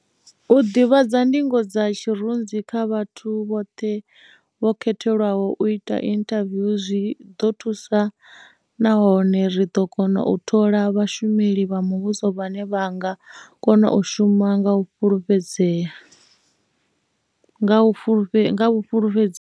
U ḓivhadza ndingo dza tshirunzi kha vhathu vhoṱhe vho khethelwaho u ita inthaviwu zwi ḓo thusa nahone ri ḓo kona u thola vhashumeli vha muvhuso vhane vha nga kona u shuma nga vhufulufhedzei.